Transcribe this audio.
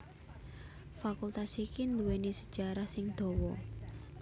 Fakultas iki nduwèni sejarah sing dawa